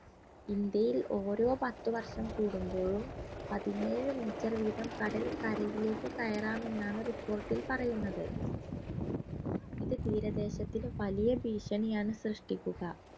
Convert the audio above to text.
ഇന്ത്യയിൽ ഓരോ പത്തു വർഷം കൂടുമ്പോഴും പതിനേഴ് meter വീതം കടൽ കരയിലേക്ക് കയറാമെന്നാണ് report ൽ പറയുന്നത് ഇത് തീര ദേശത്തിന് വലിയ ഭീഷണിയാണ് സൃഷ്ടിക്കുക